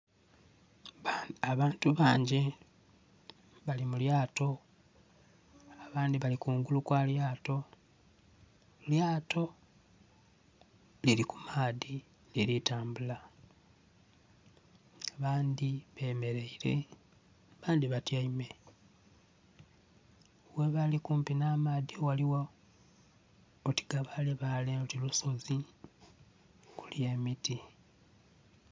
Abantu bangi bali mu lyato abandhi bali kungulu kwa lyato, elyato lili kumaadhi lili tambula abandhi bemereire abandhi batyaime, ghebali kumpi nha amaadhi ghaligho oti gabale bale oti lusozi okuli emiti.